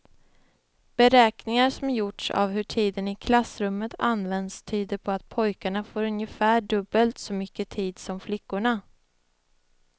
Beräkningar som gjorts av hur tiden i klassrummet används tyder på att pojkarna får ungefär dubbelt så mycket tid som flickorna.